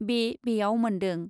बे बेयाव मोन्दों ।